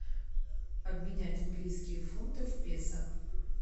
обменять английские фунты в песо